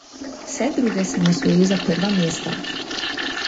Vse druge sem osvojil za prva mesta.